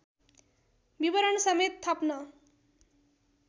विवरणसमेत थप्न